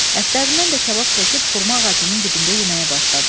Ətlərindən də kabab çəkib xurma ağacının dibində yeməyə başladılar.